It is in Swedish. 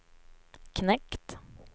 knekt